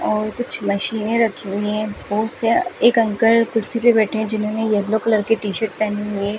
और कुछ मशीनें रखी हुई हैं बहुत से एक अंकल कुर्सी पे बैठे हैं जिन्होंने येलो कलर की टी शर्ट पहनी हुई है।